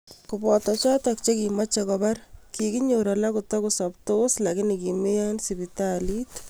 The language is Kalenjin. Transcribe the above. Kobooto chotook chekimeche kobaar, kiginyoor alak kotogosaptoos lakini kimeeiyo ing' sipitaliit